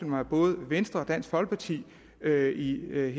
mig at både venstre og dansk folkeparti her i løbet